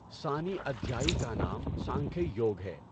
ثانی ادھیای کا نام سانکھْیَ یوگ ہے۔